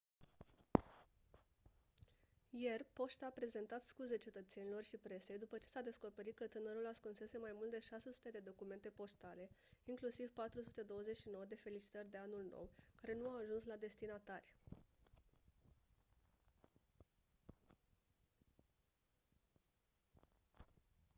ieri poșta a prezentat scuze cetățenilor și presei după ce s-a descoperit că tânărul ascunsese mai mult de 600 de documente poștale inclusiv 429 de felicitări de anul nou care nu au ajuns la destinatari